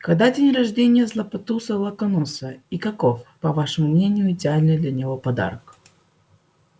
когда день рождения златопуста локонса и каков по вашему мнению идеальный для него подарок